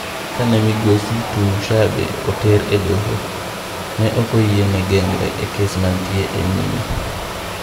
Kane migosi Tumushabe oter e doho, ne okoyiene geng're e kes mantie e nyime.